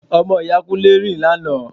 Ọmọ ìyá Kúnlé rìn lánàá